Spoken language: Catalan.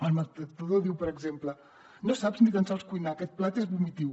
el maltractador diu per exemple no saps ni tan sols cuinar aquest plat és vomitiu